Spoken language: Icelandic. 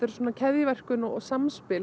svona keðjuverkun og samspil